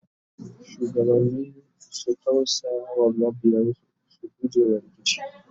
shugabanni su tausaya wa mabiyansu su gujewa rikici